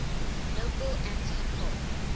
local anti poll